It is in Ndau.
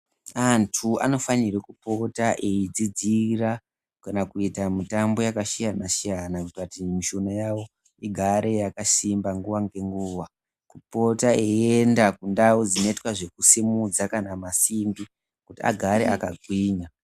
Antu anofanirwe kupota eidzidzira kana kuita mitambo yakasiyanasiyana kuita kuti mishuna yavo igare yakasimba nguwa nenguwa kupota eienda kundau dzinoitwa zvekusimudza kana masimbi kuti agare akagwinya .